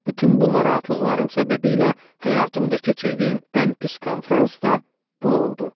Bütün bu narahatlıqlarım səbəbiylə həyatımda keçirdiyim ən pis konfrans da bu oldu.